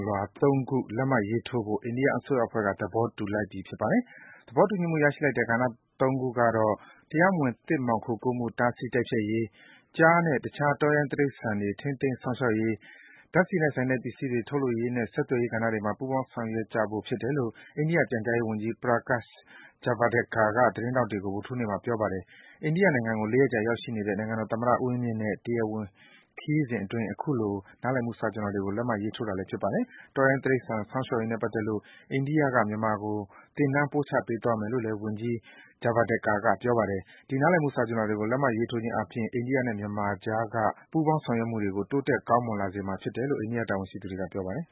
လွှာ ၃ ခု လက်မှတ်ရေးထိုးဖို့ အိန္ဒိယအစိုးရအဖွဲ့က သဘောတူလိုက်ကြပြီဖြစ်ပါတယ်။ သဘောတူညီမှု ရရှိလိုက်တဲ့ ကဏ္ဍ ၃ ခုကတော့ တရားမဝင် သစ်မှောင်ခိုကူးမှု တားဆီး တိုက်ဖျက်ရေး၊ ကျားနဲ့ တခြား တောရိုင်းတိရိစ္ဆာန်တွေ ထိန်းသိမ်း စောင့်ရှောက်ရေး၊ ဓါတ်ဆီနဲ့ဆိုင်တဲ့ ပစ္စည်းတွေ ထုတ်လုပ်ရေးနဲ့ ဆက်သွယ်ရေးကဏ္ဍတွေမှာ ပူးပေါင်း ဆောင်ရွက်ကြဖို့ဖြစ်တယ်လို့ အိန္ဒိယပြန်ကြားရေးဝန်ကြီး Prakash Javadekar က သတင်းထောက်တွေကို ဗုဒ္ဓဟူးနေ့က ပြောပါတယ်။ အိန္ဒိယနိုင်ငံကို ၄ ရက်ကြာ ရောက်ရှိနေတဲ့ နိုင်ငံတော်သမ္မတ ဦးဝင်းမြင့်ရဲ့ တရားဝင် ခရီးစဉ်အတွင်း အခုလို နားလည်မှု စာချွန်လွှာတွေကို လက်မှတ်ရေးထိုးတာလည်း ဖြစ်ပါတယ်။ တောရိုင်းတိရိစ္ဆာန် ထိန်းသိမ်းစောင့်ရှောက်ရေးနဲ့ ပတ်သက်လို့ အိန္ဒိယက မြန်မာကို သင်တန်းပို့ချပေးသွားမယ်လို့လည်း ဝန်ကြီး Javadekar က ပြောပါတယ်။ ဒီနားလည်မှုစာချွန်လွှာတွေကို လက်မှတ်ရေးထိုးခြင်း အားဖြင့် အိန္ဒိယနဲ့ မြန်မာအကြားက ပူးပေါင်းဆောင်ရွက်မှုတွေကို တိုးတက် ကောင်းမွန်စေမှာဖြစ်တယ်လို့ အိန္ဒိယ တာဝန်ရှိသူတွေက ပြောပါတယ်။